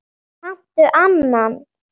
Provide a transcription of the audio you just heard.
Kanntu annan?